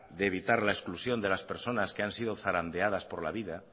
de evitar la exclusión de las personas que han sido zarandeadas por la vida